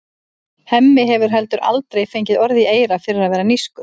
Hemmi hefur heldur aldrei fengið orð í eyra fyrir að vera nískur.